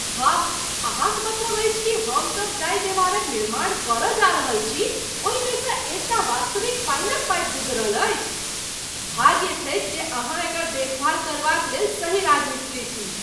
वाह, अहाँक मतलब अछि कि हम सब जाहिं देवारक निर्माण करय जाऽ रहल छी, ओहि मेसँ एकटा वास्तविक पानीक पाइप गुजरल अछि? भाग्य छै जे अहाँ एकर देखभाल करबाक लेल सही राजमिस्त्री छी।